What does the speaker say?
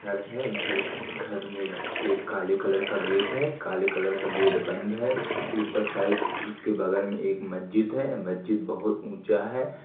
घर है। घर- घर में एक काले कलर का गेट है। काले कलर का गेट बंद है। ऊपर साइड उसके बगल में एक मस्जिद है। मस्जिद बोहोत ऊंचा है।